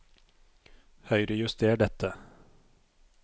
Høyrejuster dette